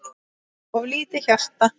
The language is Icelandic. of lítið hjarta